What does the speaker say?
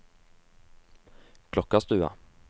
Klokkarstua